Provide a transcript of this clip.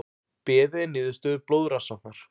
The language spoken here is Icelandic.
Beðið er niðurstöðu blóðrannsóknar